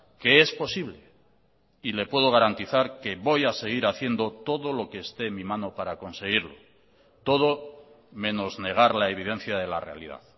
que es posible y le puedo garantizar que voy a seguir haciendo todo lo que esté en mi mano para conseguirlo todo menos negar la evidencia de la realidad